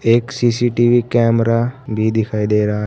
एक CCTV camera भी दिखाई दे रहा है।